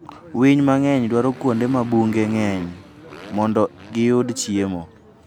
Winy mang'eny dwaro kuonde ma bunge ng'eny mondo giyud chiemo.